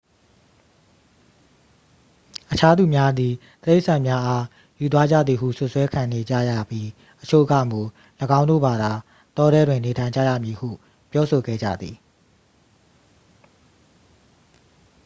အခြားသူများသည် တိရစ္ဆာန်များအား ယူသွားကြသည်ဟု စွပ်စွဲခံနေကြရပြီး အချို့ကမူ ၎င်းတို့ဘာသာ တောထဲတွင် နေထိုင်ကြရမည်ဟု ပြောဆိုခဲ့ကြသည်